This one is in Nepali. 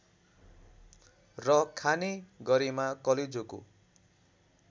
र खाने गरेमा कलेजोको